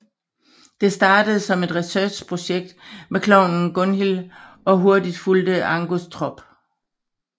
Det startede som et researchprojekt med klovnen Gunhil og hurtigt fulgte Angus trop